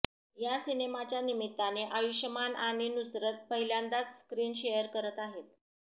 या सिनेमाच्या निमित्ताने आयुष्मान आणि नुसरत पहिल्यांदाच स्क्रीन शेअर करत आहेत